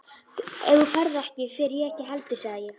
Ef þú ferð ekki, fer ég ekki heldur sagði ég.